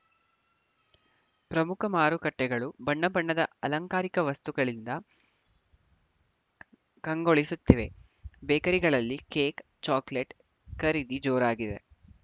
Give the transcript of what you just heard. ಪ್ರಮುಖ ಮಾರುಕಟ್ಟೆಗಳು ಬಣ್ಣ ಬಣ್ಣದ ಅಲಂಕಾರಿಕ ವಸ್ತುಗಳಿಂದ ಕಂಗೊಳಿಸುತ್ತಿವೆ ಬೇಕರಿಗಳಲ್ಲಿ ಕೇಕ್‌ ಚಾಕೋಲೆಟ್‌ ಖರೀದಿ ಜೋರಾಗಿದೆ